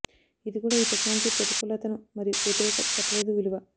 ఇది కూడా ఈ టెక్నాలజీ ప్రతికూలతలను మరియు వ్యతిరేక చెప్పలేదు విలువ